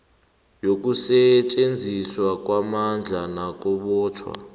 yokusetjenziswa kwamandla nakubotjhwa